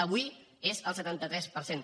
avui és del setanta tres per cent